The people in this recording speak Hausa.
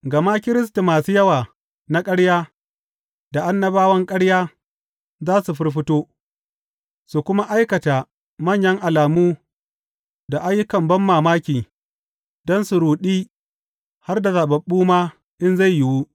Gama Kiristi masu yawa na ƙarya, da annabawan ƙarya za su firfito, su kuma aikata manyan alamu da ayyukan banmamaki don su ruɗi har da zaɓaɓɓu ma in zai yiwu.